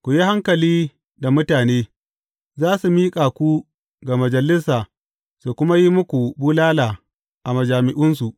Ku yi hankali da mutane; za su miƙa ku ga majalisa su kuma yi muku bulala a majami’unsu.